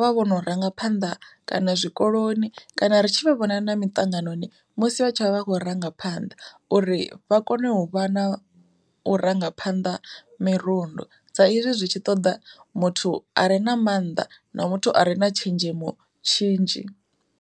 vha vhono rangaphanḓa kana zwikoloni kana ri tshi vhona na miṱanganoni musi vha tshi vha vha khou rangaphanḓa uri vha kone u vha nau rangaphanḓa mirundu sa hezwi zwi tshi ṱoda muthu a re na mannḓa na muthu a re na tshenzhemo tshinzhi.